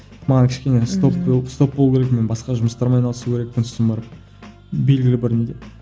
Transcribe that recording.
маған кішкене стоп стоп болу керек мен басқа жұмыстармен айналысу керекпін сосын барып белгілі бір неде